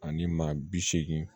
Ani maa bi seegin